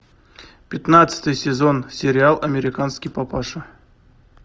пятнадцатый сезон сериал американский папаша